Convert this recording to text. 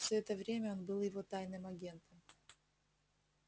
всё это время он был его тайным агентом